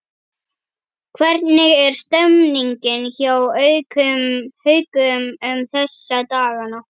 Hvernig er stemningin hjá Haukum um þessa dagana?